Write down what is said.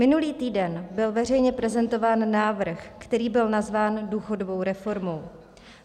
Minulý týden byl veřejně prezentován návrh, který byl nazván důchodovou reformou.